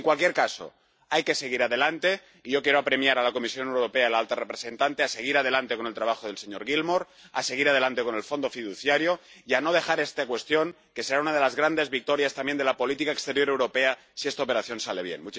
En cualquier caso, hay que seguir adelante y yo quiero apremiar a la Comisión Europea y a la alta representante a seguir adelante con el trabajo del señor Gilmore, a seguir adelante con el Fondo fiduciario y a no dejar esta cuestión, que será una de las grandes victorias también de la política exterior europea si esta operación sale bien.